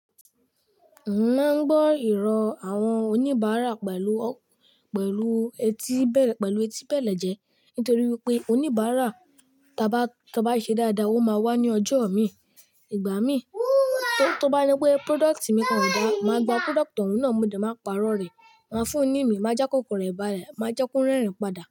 Maa n gbọ ìrọ̀ awọn oníbàárà pẹ̀lú, pẹ̀lú etí, pẹ̀lú etí bèlè jẹ́ nítorí wípé oníbàárà tá bá, tá bá i ṣẹ dáadáa ó máa wá ní ọjọ mi, ìgbà mi. Tó bá je pé product mi kàn ò dáa, màá gba product ọ̀un náà mo de, màá pàrọ̀ rẹ̀, màá fún un ní ìmi, màá já kòkan rẹ̀ bále, màá jẹ́ kó rẹ́rìn padà.